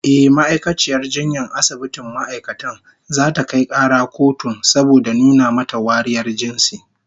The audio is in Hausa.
Ehh, ma'aikaciyar jinyar asibitin ma'aikatan zata kai kara kotun saboda nuna mata wariyar jinsi